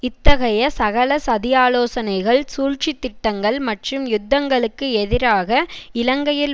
இத்தகைய சகல சதியாலோசனைகள் சூழ்ச்சி திட்டங்கள் மற்றும் யுத்தங்களுக்கு எதிராக இலங்கையில்